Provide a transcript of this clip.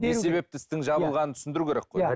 не себепті істің жабылғанын түсіндіру керек қой